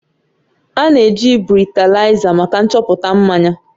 A na-eji bretalaiza maka nchọpụta mmanya